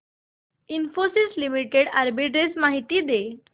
Infosys limited arbitrage माहिती दे